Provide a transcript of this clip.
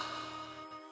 Ay!